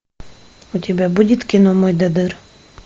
у тебя будет кино мойдодыр